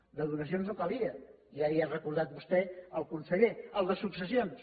el de donacions no calia ja li ho ha recordat a vostè el conseller el de successions